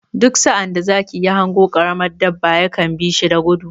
Duk sa'ad da zaki ya hango ƙaramin dabba ya kan bi shi da gudu.